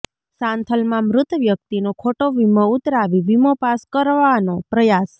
સાંથલમાં મૃત વ્યકિતનો ખોટો વિમો ઉતરાવી વીમો પાસ કરવાનો પ્રયાસ